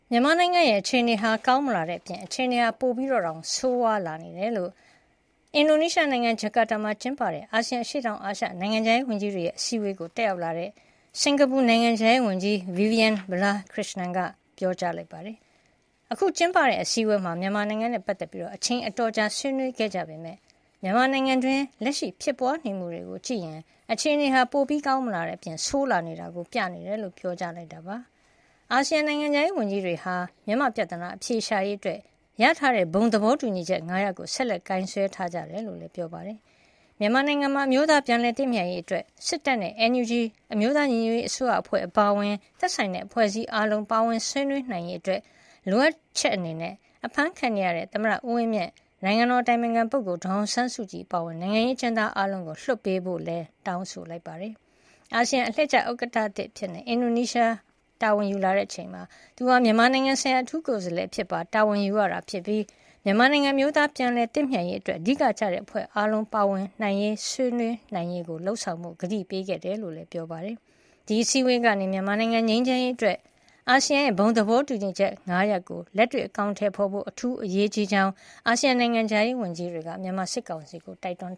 မြန်မာနိုင်ငံရဲ့ အခြေနေဟာ ကောင်းမလာတဲ့အပြင် အခြေအနေ ပိုဆိုးလာနေတယ်လို့ အင်ဒိုနီးရှားနိုင်ငံ ဂျာကာတာမှာ ကျင်းပတဲ့ အာဆီယံ အရှေ့တောင်အာရှ နိုင်ငံခြားရေးဝန်ကြီးတွေရဲ့ အစည်းအဝေးကို တက်ရောက်လာတဲ့ စင်္ကာပူနိုင်ငံခြားရေးဝန်ကြီး Vivian Balakrishnan က ပြောကြားလိုက်ပါတယ်။ အခုကျင်းပတဲ့ အစည်းအဝေးမှာ မြန်မာနိုင်ငံနဲ့ပတ်သက်ပြီး အချိန်အတော်ကြာ ဆွေးနွေးခဲ့ကြပေမယ့် မြန်မာနိုင်ငံတွင်း လက်ရှိဖြစ်ပွါးနေမှုတွေကို ကြည့်ရင် အခြေနေဟာ ပိုကောင်းမလာတဲ့အပြင် ဆိုးလာနေတာကို ပြနေတယ်လို့ ပြောကြားခဲ့တာပါ။ အာဆီယံ နိုင်ငံခြားရေးဝန်ကြီးတွေဟာ မြန်မာ့ပြဿနာ အဖြေရှာရေးအတွက် ရထားတဲ့ ဘုံသဘောတူညီချက် ၅ ရပ်ကို ဆက်လက်ကိုင်စွဲထားကြတယ်လို့လည်း ပြောပါတယ်။ မြန်မာနိုင်ငံမှာ အမျိုးသားပြန်လည်သင့်မြတ်ရေးအတွက် စစ်တပ်နဲ့ အတိုက်အခံ NUG အမျိုးသားညီညွတ်ရေးအစိုးရအဖွဲ့ အပါအဝင် သက်ဆိုင်တဲ့ အဖွဲ့အစည်းအားလုံး ပါဝင်ဆွေးနွေးနိုင်ရေး လိုအပ်ချက်အနေနဲ့ အဖမ်းခံနေရတဲ့ သမ္မတဦးဝင်းမြင့်၊ နိုင်ငံတော်အတိုင်ပင်ခံပုဂ္ဂိုလ် ဒေါ်အောင်ဆန်းစုကြည် အပါအဝင် နိုင်ငံရေးအကျဉ်းသားအားလုံးကို လွှတ်ပေးဖို့လည်း တောင်းဆိုလိုက်ပါတယ်။ အာဆီယံအလှည့်ကျ ဥက္ကဌသစ် အင်ဒိုနီးရှားအနေနဲ့ မြန်မာနိုင်ငံဆိုင်ရာ အထူးကိုယ်စားလှယ်အဖြစ်ပါ တာဝန်ယူရတာဖြစ်ပြီး မြန်မာနိုင်ငံ အမျိုးသားပြန်လည်သင့်မြတ်ရေးအတွက် အဓိကကျတဲ့ အဖွဲ့အားလုံး ပါဝင်ဆွေးနွေးနိုင်ရေးကို လုပ်ဆောင်ဖို့ ကတိပေးခဲ့ကြောင်းလည်း ပြောပါတယ်။ ဒီအစည်းအဝေးကနေ မြန်မာနိုင်ငံ ငြိမ်းချမ်းရေးအတွက် အာဆီယံဘုံ သဘောတူချက် (၅)ချက်ကို လက်တွေ့ အကောင်အထည်ဖော်ဖို့ အထူးအရေးကြီးကြောင်း အာဆီယံ နိုင်ငံခြားရေးဝန်ကြီးတွေက မြန်မာစစ်ကောင်စီကို တိုက်တွန်